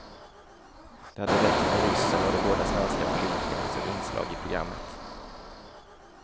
Det hade räckt med ryssen och de båda svenska politikerna som inslag i programmet.